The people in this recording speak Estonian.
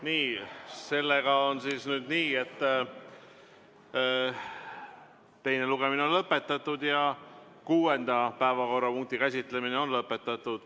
Nii, sellega on nüüd nii, et teine lugemine on lõpetatud ja kuuenda päevakorrapunkti käsitlemine on lõpetatud.